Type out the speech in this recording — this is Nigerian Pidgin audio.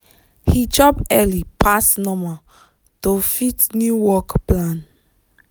he chop early pass normal to fit new work plan.